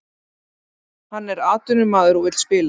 Hann er atvinnumaður og vill spila